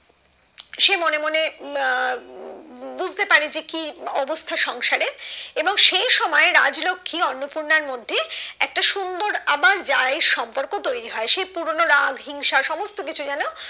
সে মনে মনে আহ বুঝতে পারে যে কি অবস্তা সংসারে এবং সেই সময় রাজলক্ষী অন্নপূর্ণার মধ্যে একটা সুন্দর আবার যা এর সম্পর্ক তৈরি হয় সেই পুরোনো রাগ হিংসা সমস্ত কিছু যেন